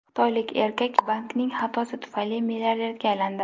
Xitoylik erkak bankning xatosi tufayli milliarderga aylandi.